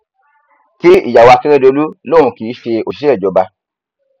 kí ìyàwó akérèdọlú lòun kì í ṣe òṣìṣẹ ìjọba